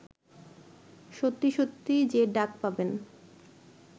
সত্যি সত্যি যে ডাক পাবেন